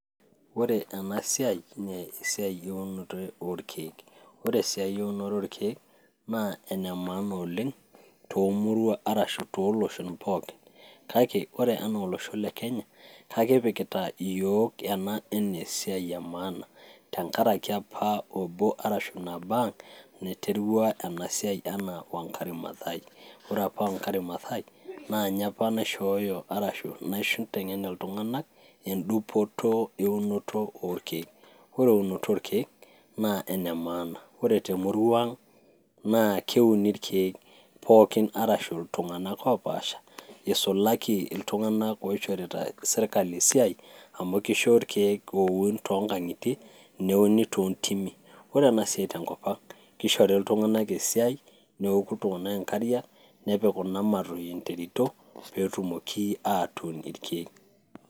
Ore enasiai, naa esiai orkeek. Ore esiai eunoto orkeek, naa enemaana oleng',tomuruan ashu toloshon pookin. Kake, ore enaa olosho le Kenya, kakipikita iyiok ena enesiai emaana, tenkaraki apa obo ashu nabo ang', naiterua enasiai enaa Wangari Mathai. Ore apa Wangari Mathai, na nye apa naishooyo ashu naiteng'en iltung'anak, edupoto eunoto orkeek. Ore eunoto orkeek, na enemaana. Ore temurua ang',naa keuni irkeek, pookin arashu iltung'anak opaasha, isulaki iltung'anak oishorita sirkali esiai, amu kisho irkeek oun tonkang'itie, neuni tontimi. Ore enasiai tenkop ang',kishori iltung'anak esiai, neoku iltung'anak inkariak, nepik kuna matui interito, petumoki atuun irkeek.